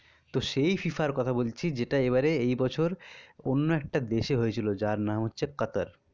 তো সেই FIFA আর কথা বলছি, যেটা এবারে এই বছর অন্য একটা দেশে হয়েছিল নার যান হচ্ছে কাতার